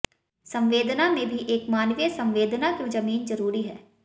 संवेदना में भी एक मानवीय संवेदना की जमीन जरूरी है